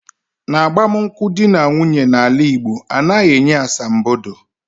N'agbamunkwu dị na nwunye na ala Igbo, anaghị enye asambodo